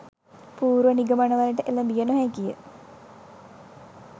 පූර්ව නිගමනවලට එළඹිය නොහැකිය.